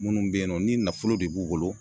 Munnu be yen nɔ ni nafolo de b'u bolo